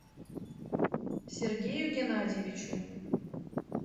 сергею геннадьевичу